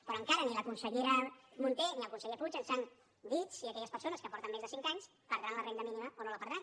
però encara ni la consellera munté ni el conseller puig ens han dit si aquelles persones que porten més de cinc anys perdran la renda mínima o no la perdran